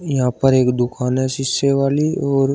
यहां पर एक दुकान है शीशे वाली और--